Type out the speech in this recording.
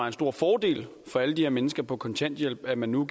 en stor fordel for alle de her mennesker på kontanthjælp at man nu